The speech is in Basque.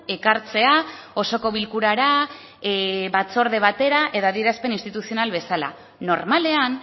ekartzea osoko bilkurara batzorde batera edo adierazpen instituzional bezala normalean